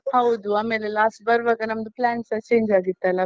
ಹೌದು, ಆಮೇಲೆ last ಬರ್ವಾಗಸ ನಮ್ದು plan ಸ change ಆಗಿತ್ತಲ್ಲಾ?